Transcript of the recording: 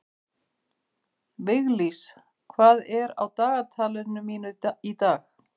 Viglís, hvað er á dagatalinu mínu í dag?